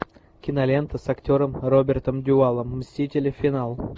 кинолента с актером робертом дювалем мстители финал